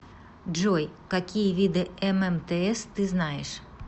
джой какие виды ммтс ты знаешь